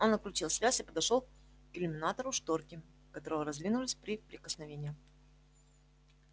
он отключил связь и подошёл к иллюминатору шторки которого раздвинулись при прикосновении